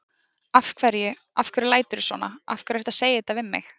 Af hverju. af hverju læturðu svona. af hverju ertu að segja þetta við mig?